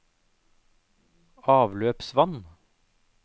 avløpsvann